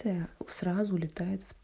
так сразу летает в